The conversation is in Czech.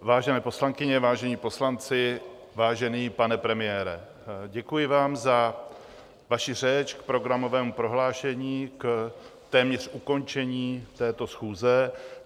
Vážené poslankyně, vážení poslanci, vážený pane premiére, děkuji vám za vaši řeč k programovému prohlášení, k téměř ukončení této schůze.